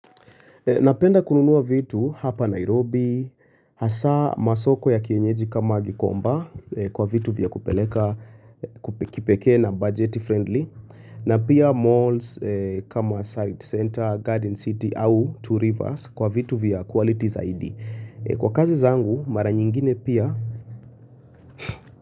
Napenda kununua vitu hapa Nairobi, hasa masoko ya kienyeji kama gikomba kwa vitu vya kupeleka, kipeke na budget friendly, na pia malls kama side center, garden city au two rivers kwa vitu vya qualities zaidi. Kwa kazi zangu mara nyingine pia.